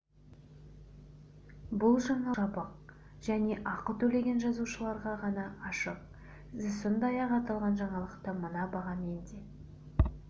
бұл жаңалық жабық және ақы төлеген жазылушыларға ғана ашық сіз сондай-ақ аталған жаңалықты мына бағамен де